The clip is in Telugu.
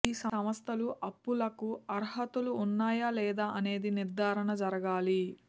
ఈ సంస్థలు అప్పులకు అర్హతలు ఉన్నాయా లేదా అనేది నిర్ధారణ జరగాలి